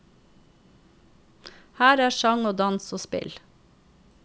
Her er sang og dans og spill.